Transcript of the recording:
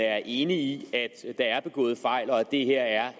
er enig i at der er begået fejl og at det her er